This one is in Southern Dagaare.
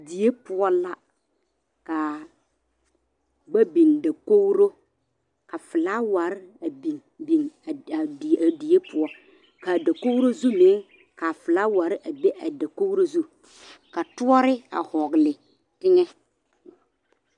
Die poɔ la kaa ba biŋ dakogri ka felaware a biŋ biŋ a die poɔ kaa dakogri zu meŋ kaa felaware a be a dakogri zu ka toɔri a vɔgle teŋa.